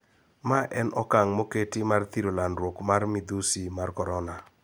Mae en okang` moketi mar thiro landruok mar midhusi mar korona